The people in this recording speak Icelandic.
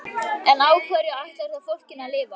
En á hverju ætlarðu þá fólkinu að lifa?